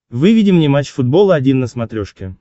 выведи мне матч футбол один на смотрешке